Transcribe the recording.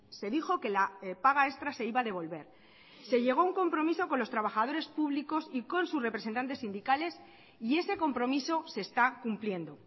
se dijo que la paga extra se iba a devolver se llegó a un compromiso con los trabajadores públicos y con sus representantes sindicales y ese compromiso se está cumpliendo